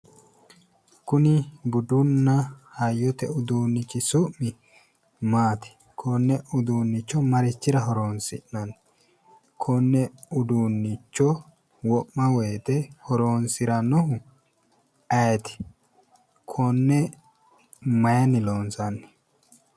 Kuni budunna hayyote uudunnichi su'mi maati? Konne uudunnicho marichira horoonsi'nani? Konne uudunnicho wo'ma woyite horoonsirannohu ayeeti? Konne mayini loonsanni?